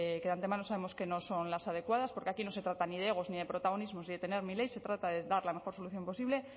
que de antemano sabemos que no son las adecuadas porque aquí no se trata ni de egos ni de protagonismos ni de tener se trata de dar la mejor solución posible